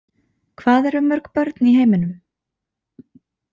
Hvað eru mörg börn í heiminum?